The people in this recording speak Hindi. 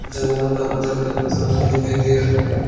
जंगल का अंदर में इंसान भी दिखाई दे रहा है।